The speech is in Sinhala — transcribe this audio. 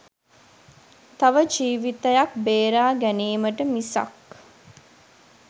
තව ජීවිතයක් බේරා ගැනීමට මිසක්